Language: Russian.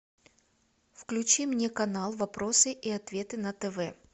включи мне канал вопросы и ответы на тв